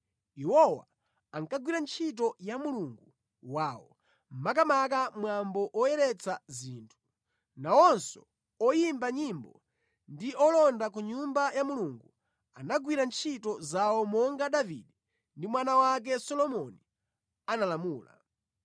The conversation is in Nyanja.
Iwowa ankagwira ntchito ya Mulungu wawo, makamaka mwambo woyeretsa zinthu. Nawonso oyimba nyimbo ndi olonda ku Nyumba ya Mulungu anagwira ntchito zawo monga Davide ndi mwana wake Solomoni analamula.